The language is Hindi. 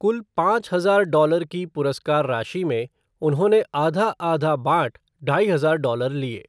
कुल पाँच हजार डॉलर की पुरस्कार राशि में उन्होंने आधा आधा बाँट ढाई हजार डॉलर लिए।